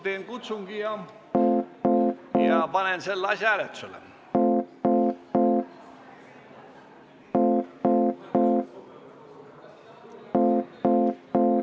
Teen kutsungi ja panen selle asja hääletusele.